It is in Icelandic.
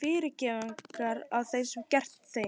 fyrirgefningar á því sem ég hef gert þeim.